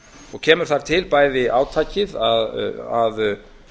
og kemur þar til bæði átakið að